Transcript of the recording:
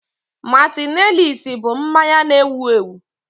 Martinelissi bụ mmanya na-ewu ewu